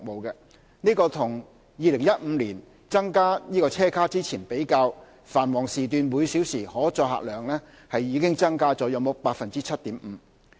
與2015年增加車卡前比較，繁忙時段每小時可載客量已增加約 7.5%。